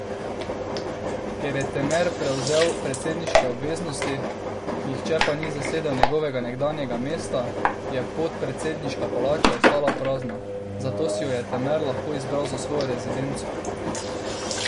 Ker je Temer prevzel predsedniške obveznosti, nihče pa ni zasedel njegovega nekdanjega mesta, je podpredsedniška palača ostala prazna, zato si jo je Temer lahko izbral za svojo rezidenco.